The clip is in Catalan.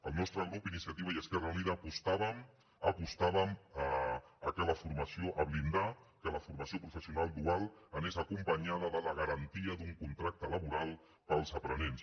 el nostre grup iniciativa i esquerra unida apostàvem per blindar que la formació professional dual anés acompanyada de la garantia d’un contracte laboral per als aprenents